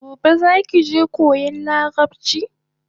Gobe zaki je koyan larabchin?